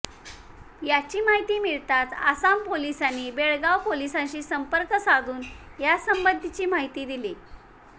याची माहिती मिळताच आसाम पोलिसांनी बेळगाव पोलिसांशी संपर्क साधून यासंबंधीची माहिती दिली